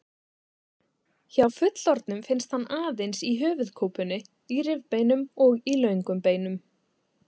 Hjá fullorðnum finnst hann aðeins í höfuðkúpunni, í rifbeinum og í löngum beinum.